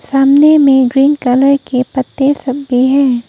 सामने में green colour के पत्ते सब भी हैं।